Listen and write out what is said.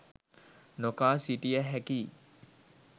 නොකා සිටිය හැකියි